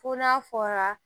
Fo n'a fɔra